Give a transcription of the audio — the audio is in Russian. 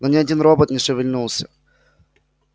но ни один робот не шевельнулся